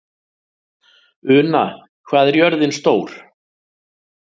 Una, hvað er jörðin stór?